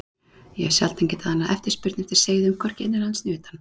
Ég hef sjaldan getað annað eftirspurn eftir seiðum, hvorki innanlands né utan.